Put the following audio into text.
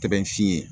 Tɛ sin ye